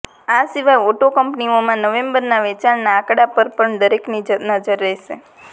આ સિવાય ઓટો કંપનીઓના નવેમ્બરના વેચાણના આંકડા પર પણ દરેકની નજર રહેશે